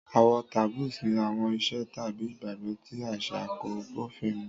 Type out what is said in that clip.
Àwọn taboos ní àwọn ìṣe tàbí ìgbàgbọ́ tí àṣà kò bófin mu.